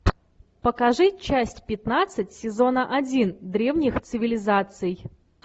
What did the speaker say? покажи часть пятнадцать сезона один древних цивилизаций